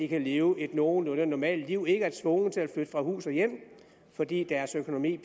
kan leve et nogenlunde normalt liv og ikke er tvunget til at flytte fra hus og hjem fordi deres økonomi